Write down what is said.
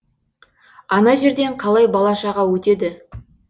ана жерден қалай бала шаға өтеді